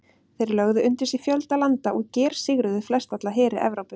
Þeir lögðu undir sig fjölda landa og gersigruðu flestalla heri Evrópu.